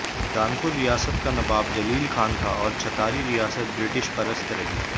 दानपुर रियासत का नबाब जलील खान था और छतारी रियासत ब्रिटिश परस्त रही